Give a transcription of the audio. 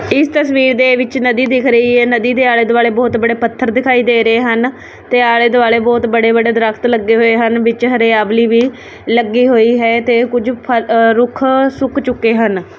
ਇਸ ਤਸਵੀਰ ਦੇ ਵਿੱਚ ਨਦੀ ਦਿਖ ਰਹੀ ਹੈ ਨਦੀ ਦੇ ਆਲੇ ਦੁਆਲੇ ਬਹੁਤ ਬੜੇ ਪੱਥਰ ਦਿਖਾਈ ਦੇ ਰਹੇ ਹਨ ਤੇ ਆਲੇ ਦੁਆਲੇ ਬਹੁਤ ਬੜੇ ਬੜੇ ਦਰਖਤ ਲੱਗੇ ਹੋਏ ਹਨ ਵਿੱਚ ਹਰਿਆਵਲੀ ਵੀ ਲੱਗੇ ਹੋਏ ਹੈ ਤੇ ਕੁਝ ਰੁੱਖ ਸੁੱਕ ਚੁੱਕੇ ਹਨ।